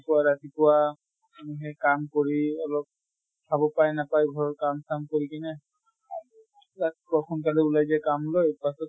পুৱা ৰাতিপুৱা মানুহে কাম কৰি অলপ খাব পায় নাপায় ঘৰৰ কাম চাম কৰি কিনে ৰাতিপুৱা সোনকালে ওলাই যায় কাম লৈ, পাছত